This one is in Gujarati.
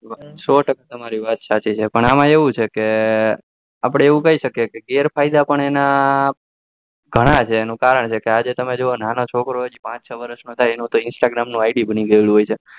સો ટકા તમરિ વાત સાચી છે પણ એમાં એવું છે કે આપડે એવું કઈ શકીએ છીએ કે ગેર ફાયડા પણ ઘણા છે એનું કારણ છે કે આજે તમે જોવા જાવ કે નાનો છોકરા હજી પાંચ વર્ષ નો થાત તો એનું instagarmID બની ગયું હોય છે